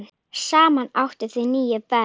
Saman áttu þau níu börn.